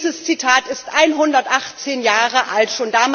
Dieses Zitat ist 118 Jahre alt.